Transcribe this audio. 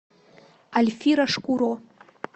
альфира шкуро